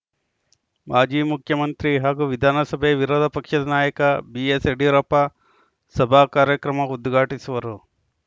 ಮಾಜಿ ಮುಖ್ಯಮಂತ್ರಿ ಹಾಗೂ ವಿಧಾನಸಭೆ ವಿರೋಧಪಕ್ಷದ ನಾಯಕ ಬಿಎಸ್‌ ಯಡಿಯೂರಪ್ಪ ಸಭಾ ಕಾರ್ಯಕ್ರಮ ಉದ್ಘಾಟಿಸುವರು